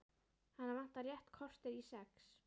Hana vantar rétt kortér í sex.